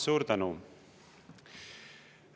Suur tänu!